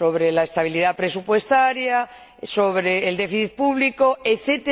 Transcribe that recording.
en la estabilidad presupuestaria, en el déficit público, etc.